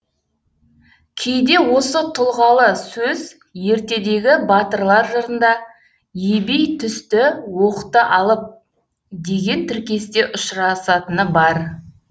кейде осы тұлғалы сөз ертедегі батырлар жырында ебей түсті оқты алып деген тіркесте ұшырасатыны бар